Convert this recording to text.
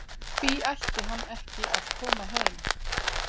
Hví ætti hann ekki að koma heim?